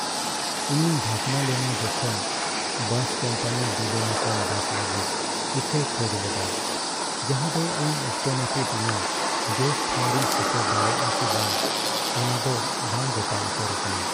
ᱤᱧᱤᱧ ᱵᱷᱟᱵᱱᱟ ᱞᱮᱱᱟ ᱡᱚᱠᱷᱚᱱ ᱵᱟᱥ ᱠᱳᱢᱯᱟᱱᱤ ᱵᱤᱞᱳᱢ ᱟᱠᱟᱱ ᱵᱟᱥ ᱞᱟᱹᱜᱤᱫ ᱤᱠᱟᱹᱭ ᱠᱷᱚᱡ ᱞᱮᱫᱟ, ᱡᱟᱦᱟᱸᱫᱚ ᱤᱧ ᱚᱠᱛᱚᱱᱟᱹᱯᱤᱛ ᱤᱧᱟᱹᱜ ᱡᱚᱥ ᱴᱷᱟᱶ ᱨᱤᱧ ᱥᱮᱴᱮᱨ ᱫᱟᱲᱮᱭᱟᱜᱼᱟ ᱥᱮ ᱵᱟᱝ ᱚᱱᱟᱫᱚ ᱵᱟᱝ ᱜᱚᱴᱟ ᱩᱛᱟᱹᱨ ᱟᱠᱟᱱᱟ ᱾